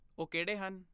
ਉਹ ਕਿਹੜੇ ਹਨ?